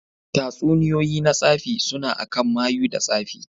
Tatsuniyoyi na tsafi suna akan mayu da tsafi.